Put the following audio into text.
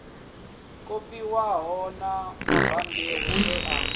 kopiwaho na mabammbiri e a